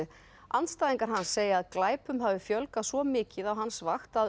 andstæðingar hans segja að glæpum hafi fjölgað svo mikið á hans vakt að